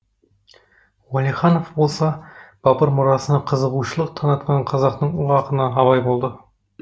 уәлиханов болса бабыр мұрасына қызығушылық танытқан қазақтың ұлы ақыны абай болды